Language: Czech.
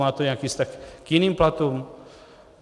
Má to nějaký vztah k jiným platům?